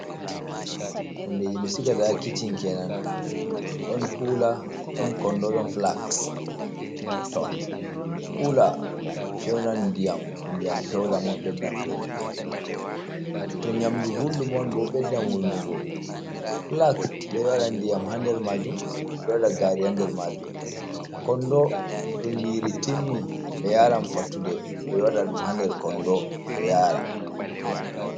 hundeeji ɓe sigata haa kicin keenan ɗon konndo ɗon flags to kuula fewnan diyam to ndiyam pewɗam on ɓeddan fewnugo to nyamdu gulɗum on bo beddam wulnugo, flags ɓe ɗo waɗa diyam haa nder maajun ɓe ɗo waɗa gaari haa nder maajum, konndo ton yiri timmi ɓe yaaran fattude ɓe ɗo waɗa dum haa nder konndo boo yaara.